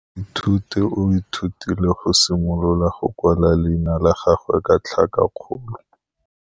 Moithuti o ithutile go simolola go kwala leina la gagwe ka tlhakakgolo.